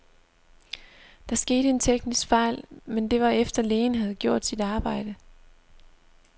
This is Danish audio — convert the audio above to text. Der skete en teknisk fejl, men det var efter, lægen havde gjort sit arbejde.